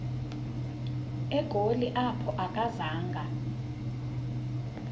egoli apho akazanga